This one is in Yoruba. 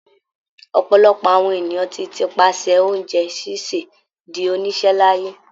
Ọ̀pọ̀lọpọ̀ àwọn ènìyàn tí ti pasẹ̀ oúnjẹ ṣíṣè di oníṣẹ́ láyé.